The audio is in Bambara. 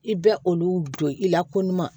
I bɛ olu don i la ko ɲuman